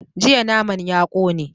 Jiya naman ya kone